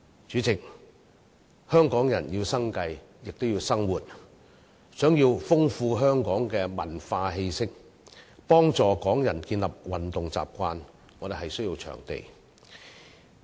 主席，香港人要生計，亦要生活；想要豐富香港的文化氣息，幫助香港人建立運動習慣，我們需要場地。